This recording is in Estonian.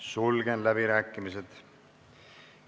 Sulgen läbirääkimised.